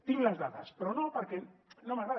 tinc les dades però no perquè no m’agrada